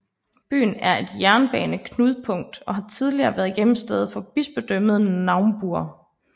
Byen er et jernbaneknudpunkt og har tidligere været hjemsted for Bispedømmet Naumburg